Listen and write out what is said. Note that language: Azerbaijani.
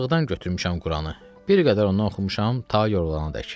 Biçarlıqdan götürmüşəm Quranı, bir qədər onu oxumuşam ta yorulana dək.